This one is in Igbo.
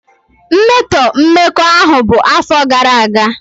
mmetọ mmekọahụ bụ afọ gara aga.